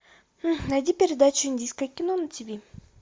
найди передачу индийское кино на тв